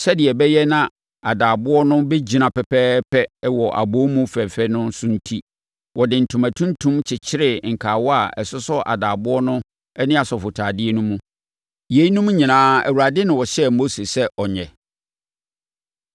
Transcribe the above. Sɛdeɛ ɛbɛyɛ na adaaboɔ no bɛgyina pɛpɛɛpɛ wɔ abɔwomu fɛfɛ no so enti, wɔde ntoma tuntum kyekyeree nkawa a ɛsosɔ adaaboɔ no ne asɔfotadeɛ no mu. Yeinom nyinaa, Awurade na ɔhyɛɛ Mose sɛ wɔnyɛ.